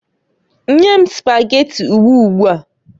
Nye m Spageti ugbua ugbuaǃ